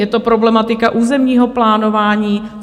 Je to problematika územního plánování?